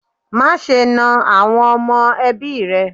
Má ṣe ná àwọn ọmọ ẹbí rẹ.